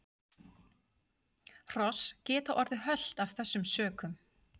Hross geta orðið hölt af þessum sökum.